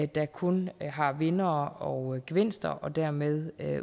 der kun har vindere og gevinster og dermed